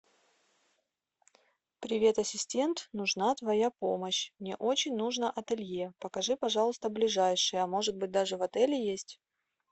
привет ассистент нужна твоя помощь мне очень нужно ателье покажи пожалуйста ближайшее может быть даже в отеле есть